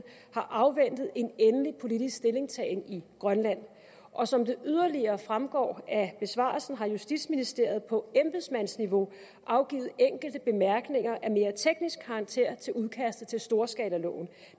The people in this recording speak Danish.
afventer en endelig politisk stillingtagen i grønland og som det yderligere fremgår af besvarelsen har justitsministeriet på embedsmandsniveau afgivet enkelte bemærkninger af mere teknisk karakter til udkastet til storskalaloven